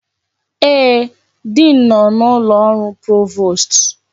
Ee, diin nọ n'ụlọ ọrụ provost.